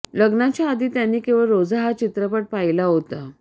लग्नाच्या आधी त्यांनी केवळ रोजा हा चित्रपट पाहिला होता